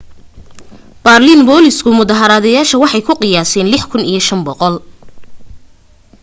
baarliin booliisku mudaharadayaasha waxay ku qiyaaseen 6,500